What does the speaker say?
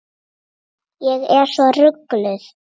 Ég er svo rugluð.